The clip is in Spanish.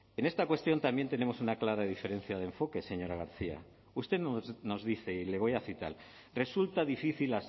en esta cuestión también tenemos una clara diferencia de enfoques señora garcia usted nos dice y le voy a citar resulta difícil